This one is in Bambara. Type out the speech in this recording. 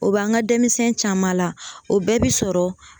O b'an ka denmisɛn caman la o bɛɛ bɛ sɔrɔ